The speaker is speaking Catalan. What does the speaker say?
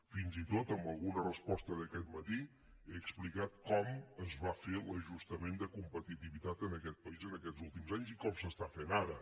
fins i tot en alguna resposta d’aquest matí he explicat com es va fer l’ajustament de competitivitat en aquest país en aquests últims anys i com s’està fent ara